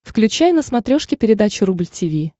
включай на смотрешке передачу рубль ти ви